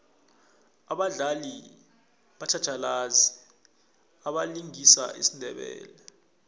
abadlali batjhatjhalazi abalingisa isindebele